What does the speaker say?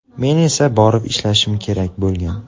Men esa borib ishlashim kerak bo‘lgan.